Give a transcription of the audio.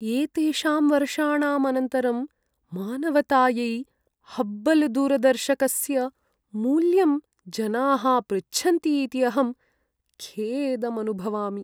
एतेषां वर्षाणाम् अनन्तरं, मानवतायै हब्बल्दूरदर्शकस्य मूल्यं जनाः पृच्छन्ति इति अहं खेदम् अनुभवामि।